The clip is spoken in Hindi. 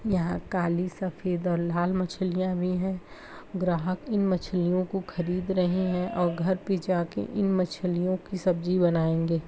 यहाँ काली सफ़ेद और लाल मछलियां भी हैं ग्राहक इन मछलियों को खरीद रहे हैं। और घर पे जाके इन मछलियों की सब्जी बनाएंगे।